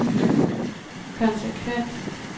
konsekvens